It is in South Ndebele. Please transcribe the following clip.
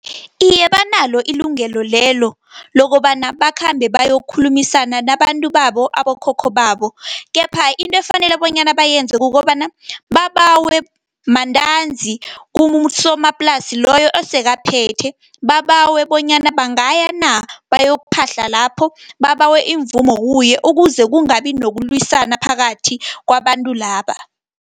Iye, banalo ilungelo lelo, lokobana bakhambe bayokhulumisana nabantu babo, abokhokho babo, kepha into efanele bonyana bayenze kukobana babawe mantanzi, kubosomaplasa loyo osekaphethe. Babawe bonyana bangaya na, bayokuphahla lapho, babawe imvumo kuye. Ukuze kungabi nokulwisana phakathi kwabantu laba.